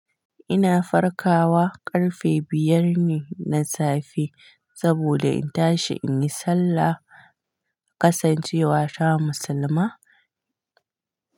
Ina farkawa ƙarfe biyar ne na safe saboda in tashi in yi sallah kasancewa ta musulma.